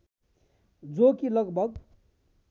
जो कि लगभग